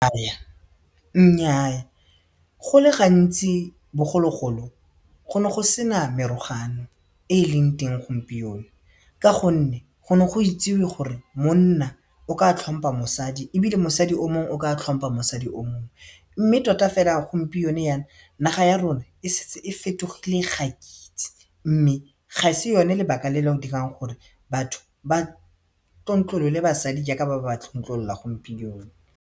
Nnyaa go le gantsi bogologolo go ne go sena merogano e e leng teng gompieno ka gonne go ne go itsewe gore monna o ka tlhompa mosadi ebile mosadi o mongwe o ka tlhompa mosadi o mongwe mme tota fela gompieno yana naga ya rona e setse e fetogile ga ke itse mme ga se yone lebaka le le dirang gore batho ba tlontlolole basadi jaaka ba tlontlolola gompieno.